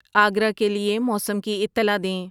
آگرہ کے لئے موسم کی اطلاع دیں